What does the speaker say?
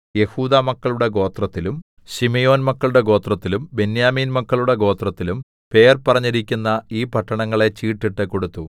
യെഹൂദാമക്കളുടെ ഗോത്രത്തിലും ശിമെയോൻമക്കളുടെ ഗോത്രത്തിലും ബെന്യാമീൻ മക്കളുടെ ഗോത്രത്തിലും പേർ പറഞ്ഞിരിക്കുന്ന ഈ പട്ടണങ്ങളെ ചീട്ടിട്ട് കൊടുത്തു